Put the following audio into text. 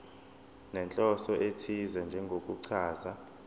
nenhloso ethize njengokuchaza